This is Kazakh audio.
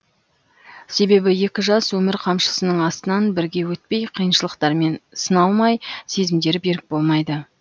себебі екі жас өмір қамшысының астынан бірге өтпей қиыншылықтармен сыналмай сезімдері берік болмайды